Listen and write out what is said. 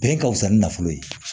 Bɛn ka wusa ni nafolo ye